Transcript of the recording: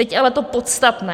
Teď ale to podstatné.